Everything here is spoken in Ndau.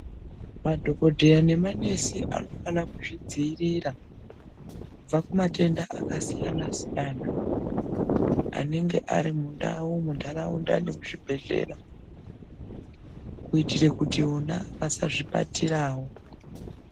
Madhokodheya nemanesi anofana kuzvidzivirira kubva kumatenda akasiyana siyana anenga arimundau mundaraunda nemuzvibhedhlera kuitire kuti vona vasazvibatirawo.